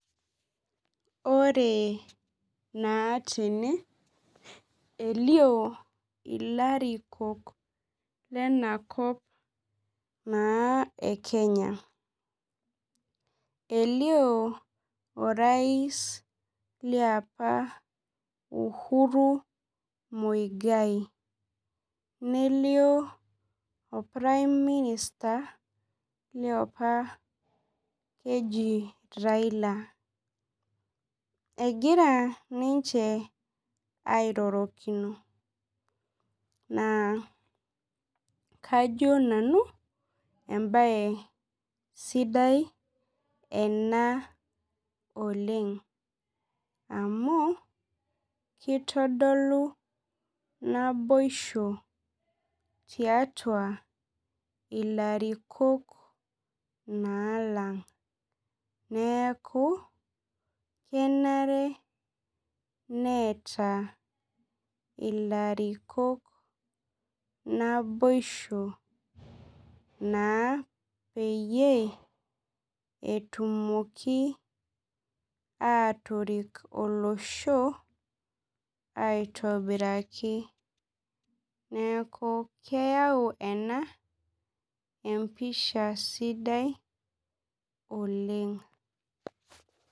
Ore naa tene, elio ilarikok lenakop naa e Kenya. Elio orais liapa Uhuru Muigai. Nelio or prime minister liopa Raila. Egira ninche airorokino. Naa kajo nanu ebae sidai ena oleng. Amu, kitodolu naboisho tiatua ilarikok naa lang'. Neeku, kenare neeta ilarikok naboisho naa peyie etumoki atorik olosho, aitobiraki. Neeku, keyau ena, empisha sidai oleng.